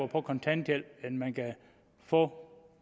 på kontanthjælp end man kan få